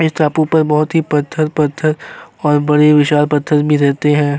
इस टापू पर बोहोत ही पत्थर-पत्थर और बड़े विशाल पत्थर भी रहते है।